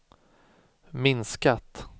minskat